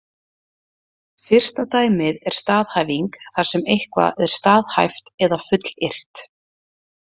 Fyrsta dæmið er staðhæfing þar sem eitthvað er staðhæft eða fullyrt.